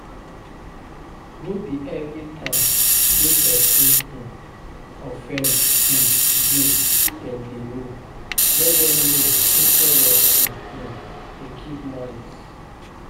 No be everytime wey person um offend um you dem dey know, let them know instead of to um dey keep malice